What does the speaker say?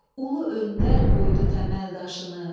Ulu öndər qoydu təməl daşını.